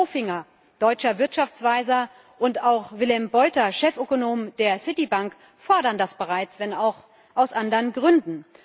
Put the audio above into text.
Peter Bofinger, deutscher Wirtschaftsweiser, und auch Willem Buiter, Chefökonom der Citibank, fordern das bereits, wenn auch aus anderen Gründen.